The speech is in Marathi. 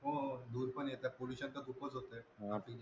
हो धूर पण येत pollution त खूपच होते, बाकीच